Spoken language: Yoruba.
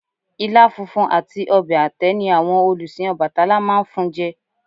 Ilá funfun àti ọbẹ̀ àtẹ́ ni àwọn olùsìn Ọbàtálá máa ń fun jẹ